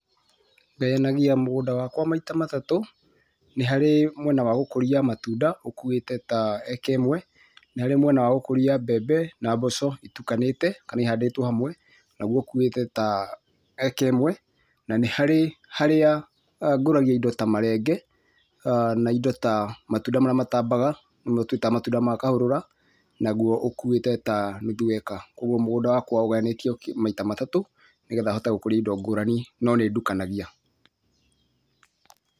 Ngayanagia mũgũnda wakwa maita matatũ, nĩharĩ mwĩna wa gũkũria matũnda ũkuuĩte ta acre ĩmwe, nĩharĩ mwĩna wa gũkũria mbembe na mboco itũkanĩte kana ihandĩtwo hamwe nagũo ũkuuĩte ta acre ĩmwe, na nĩ harĩ harĩa ngũragia indo ta marenge na indo ta matũnda marĩa ma tambaga nĩmo twĩtaga matũnda ma kahũrũra nagũo ũkuuĩte ta nũthũ acre. Kwoguo mũgũnda wakwa ũgayanĩtio maita matatũ nĩgetha hote gũkũria indo ngũrani no nĩ ndukanagia.